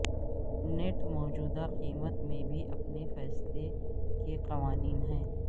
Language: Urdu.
نیٹ موجودہ قیمت میں بھی اپنے فیصلے کے قوانین ہیں